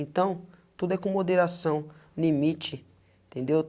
Então, tudo é com moderação, limite, entendeu?